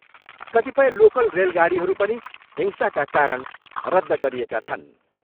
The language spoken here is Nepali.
कतिपय लोकल रेलगाडीहरू पनि हिंसाका कारण रद्ध गरिएका छन्।